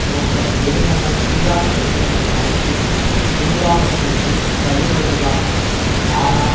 நோக்கம் வெறுமனே ஈராக் பிரச்சனையை அடுத்து நிர்வாகத்திற்கு தள்ளுவதுதான் ஆனால்